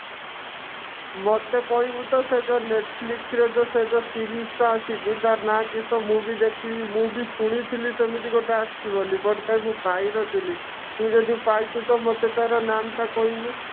ମୋତେ କହିବୁ ତ ସେ ଯଉ netflix ରେ ଯଉ ସେ ଯଉ series ଟା ଆସିଛି ତା ନା କିସ ମୁଁ ବି ଦେଖିବି ମୁଁ ବି ଶୁଣିଥିଲି ସେମିତି ଗୋଟେ ଆସିଛି ବୋଲି but କାଇଁ ମୁଁ ପାଇନଥିଲି ତୁ ଯଦି ପାଇଛୁ ତ ମୋତେ ତାର ନାମ ଟା କହିବୁ